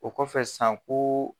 O kɔfɛ san ko.